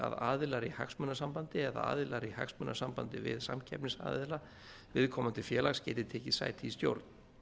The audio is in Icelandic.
að aðilar í hagsmunasambandi eða aðilar í hagsmunasambandi við samkeppnisaðila viðkomandi félags geti tekið sæti í stjórn